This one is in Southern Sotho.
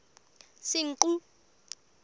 senqu